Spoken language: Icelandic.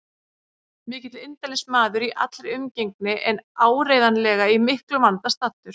Mikill indælismaður í allri umgengni en áreiðanlega í miklum vanda staddur.